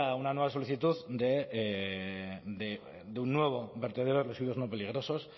una nueva solicitud de un nuevo vertedero de residuos no peligrosos